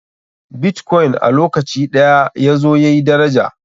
Bitkoin a lokaci ɗaya yazo yayi daraja.